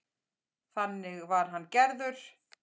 Þannig var hann gerður.